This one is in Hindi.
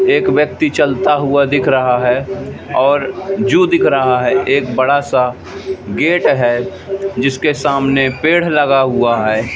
एक व्यक्ति चल हुआ दिख रहा हैं और जु दिख रहा है एक बड़ासा गेट है जिसके सामने पेड़ लगा हुआ हैं।